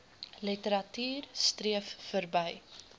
literatuur streef verby